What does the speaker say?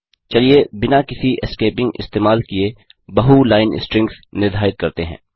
चलिए बिना किसी एस्केपिंग इस्तेमाल किये बहु लाइन स्ट्रिंग्स निर्धारित करते हैं